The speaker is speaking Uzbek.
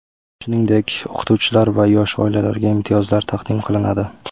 Shuningdek, o‘qituvchilar va yosh oilalarga imtiyozlar taqdim qilinadi.